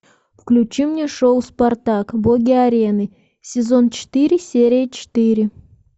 включи мне шоу спартак боги арены сезон четыре серия четыре